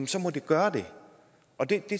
så må det gøre det og det